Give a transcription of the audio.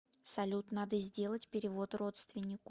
салют надо сделать перевод родственнику